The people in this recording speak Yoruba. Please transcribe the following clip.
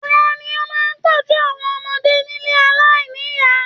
Tani o máa n tọjú àwọn ọmọdé nílé aláìníya?